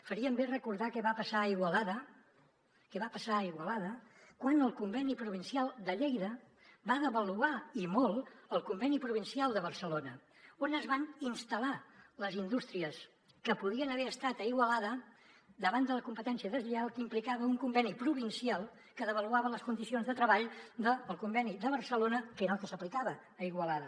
farien bé de recordar què va passar a igualada què va passar a igualada quan el conveni provincial de lleida va devaluar i molt el conveni provincial de barcelona on es van instal·lar les indústries que podrien haver estat a igualada davant de la competència deslleial que implicava un conveni provincial que devaluava les condicions de treball del conveni de barcelona que era el que s’aplicava a igualada